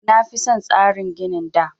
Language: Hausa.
Na fi son tsarin ginin da